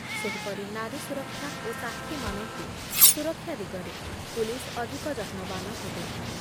ସେହିପରି ନାରୀ ସୁରକ୍ଷା ଓ ସାକ୍ଷୀମାନଙ୍କୁ ସୁରକ୍ଷା ଦିଗରେ ପୁଲିସ୍ ଅଧିକ ଯତ୍ନବାନ ହେବେ ।